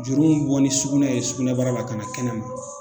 Juru m bɔ ni sugunɛ ye sugunɛbara la kana kɛnɛma